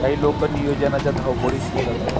काही लोक नियोजनाच्या धावपळीत दिसत आहेत.